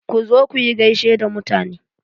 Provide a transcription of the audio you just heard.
Ku zo kuyi gaishe da mutane.